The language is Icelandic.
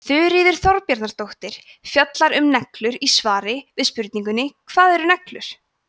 þuríður þorbjarnardóttir fjallar um neglur í svari við spurningunni hvað eru neglur